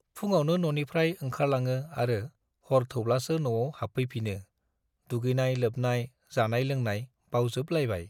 फुङावनो न'निफ्राइ ओंखारलाङो आरो हर थौब्लासो न'आव हाबफैफिनो दुगैनाय-लोबनाय, जानाय-लोंनाय बावजोबलायबाय।